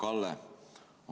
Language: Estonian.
Hea Kalle!